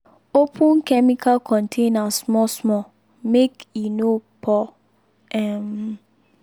open chemical container small small make e no pour um